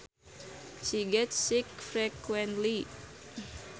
She gets sick frequently